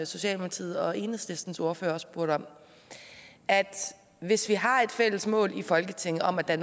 socialdemokratiets og enhedslistens ordførere også spurgte om hvis vi har et fælles mål i folketinget om at der